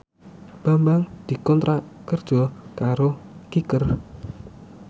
Bambang dikontrak kerja karo Kicker